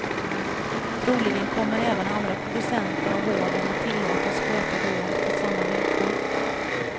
Troligen kommer även andra producenter av vården att tillåtas sköta vård på samma villkor.